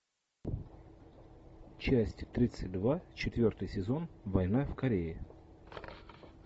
часть тридцать два четвертый сезон война в корее